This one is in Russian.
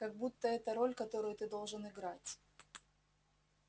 как будто это роль которую ты должен играть